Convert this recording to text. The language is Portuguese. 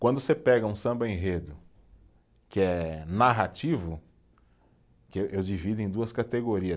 Quando você pega um samba-enredo que é narrativo, que eu divido em duas categorias.